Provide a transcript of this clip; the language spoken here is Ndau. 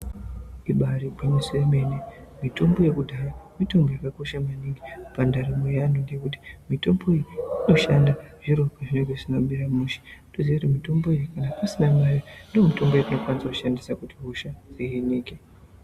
Ibaari gwinyiso yemene, mitombo yekudhaya mitombo yakakosha maningi pandaramo ye antu ngekuti mitombo iyi inoshanda zviro zvisina kumira pazvinenge zvisina kumushe toziya kuti mitombo iyi kana pasina mare ndomitombo yatinokwanisa kushandisa kuti hosha dzihinike.